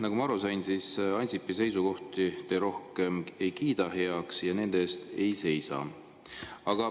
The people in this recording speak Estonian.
Nagu ma aru sain, siis Ansipi seisukohti te rohkem heaks ei kiida ja nende eest ei seisa.